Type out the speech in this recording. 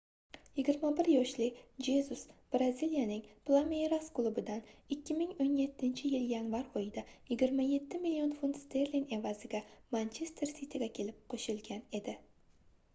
21 yoshli jezus braziliyaning plameyras klubidan 2017-yil yanvar oyida 27 million funt sterling evaziga manchester siti"ga kelib qo'shilgan edi